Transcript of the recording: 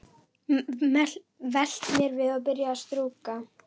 Velt mér við og byrjað að strjúka.